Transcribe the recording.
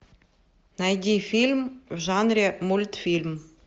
найди фильм в жанре мультфильм